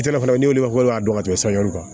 kan